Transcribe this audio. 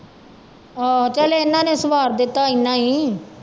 ਆਹੋ ਚੱਲ ਇਹਨਾਂ ਨੇ ਸਵਾਰ ਦਿੱਤਾ ਇੰਨਾ ਹੀ